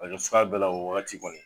Arajo sira bɛɛ la o wagati kɔni